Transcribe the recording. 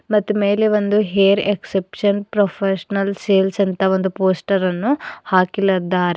ಮತ್ ಮೇಲೆ ಒಂದು ಹೇರ್ ಎಕ್ಸೆಪ್ಶನ್ ಪ್ರೊಫೆಷನಲ್ ಸೇಲ್ಸ್ ಅಂತ ಒಂದು ಪೋಸ್ಟರ ನ್ನು ಹಾಕಿಲದ್ದಾರೆ.